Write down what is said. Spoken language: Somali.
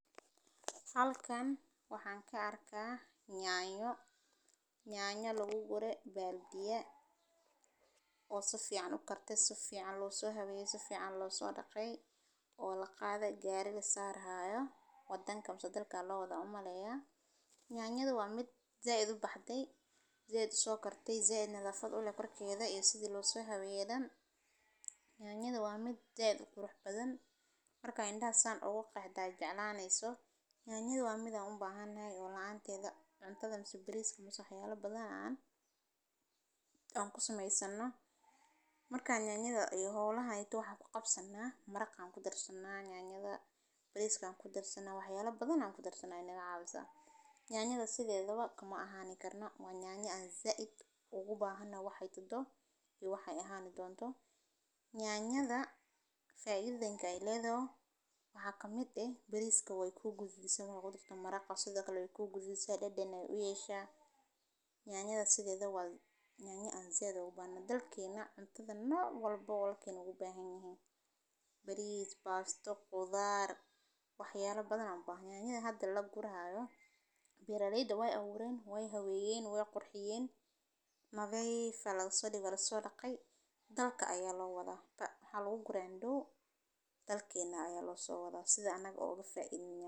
Halkan waxaan ka arkaa nyaanyo lagu gureey baaldhiya, oo si fican u kartey, si fican loo so haweeye, si fican loo so dhaqee. Nyanyadu waa mid ka mid ah khudaarta ugu faa’iidada badan ee lagu cuno, waxayna leedahay macaan, dhanaan, iyo dhadhan qurux badan oo ay ka dhigaan qof kasta inuu jeclaan karo inuu cuno, waxayna ku nool yihiin vitamino badan waxayna ka caawisaa xididdada, xasilloonida wadnaha, iyo ilaalinta caafimaadka indhaha, waxay kaloo noqon kartaa qayb muhiim ah oo laga sameeyo baasto, bariis, saliid, suugo, iyo maraqyo kala duwan, waxana laga helaa beeraha, suuqa, iyo dukaamada, waxayna noqon kartaa mid la isku daro salaadaha